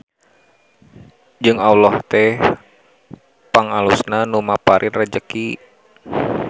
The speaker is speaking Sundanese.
Jeung Alloh teh pangalusna Nu Maparin Rejeki.